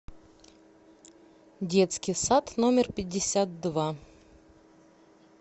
детский сад номер пятьдесят два